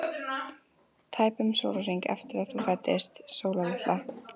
Tæpum sólarhring eftir að þú fæddist, Sóla litla.